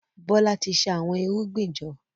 Bola tí ṣa Àwọn irúgbìn jọ.